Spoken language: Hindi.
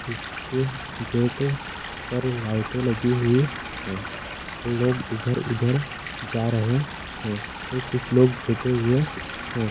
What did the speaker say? इस के गेट पर लाइटे लगी हुई है लोग इधर उधर जा रहे है और कुछ लोग बैठे हुए है।